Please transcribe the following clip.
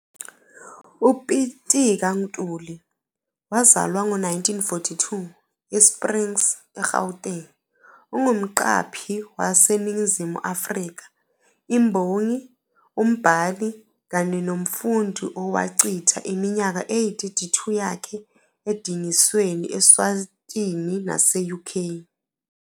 UPitika Ntuli, wazalwa ngo-1942, eSprings, eGauteng, ungumqaphi waseNingizimu Afrika, imbongi, umbhali, kanye nomfundi owachitha iminyaka eyi-32 yakhe edingisweni Eswatini nase-UK.